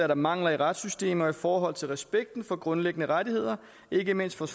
der mangler i retssystemet i forhold til respekten for grundlæggende rettigheder ikke mindst hvad